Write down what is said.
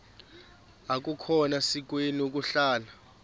akukhona sikweni ukuhlala